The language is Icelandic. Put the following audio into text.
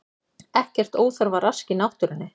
Ekkert óþarfa rask í náttúrunni